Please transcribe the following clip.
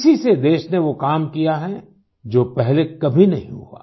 इसी से देश ने वो काम किया है जो पहले कभी नहीं हुआ